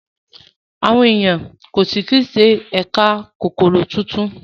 Àwọn ènìyàn yóó sí tún ṣe ẹyà Kókóró títún.